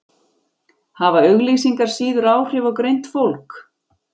Hafa auglýsingar síður áhrif á greint fólk?